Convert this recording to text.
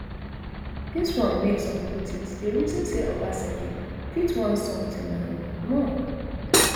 dis wan make some critics dey reason say obaseki fit want sometin um more